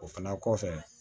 O fana kɔfɛ